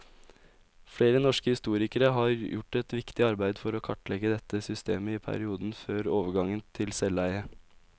Flere norske historikere har gjort et viktig arbeid for å kartlegge dette systemet i perioden før overgangen til selveie.